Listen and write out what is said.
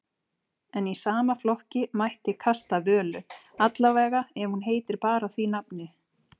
En í sama flokki mætti kasta Völu, allavega ef hún heitir bara því nafni.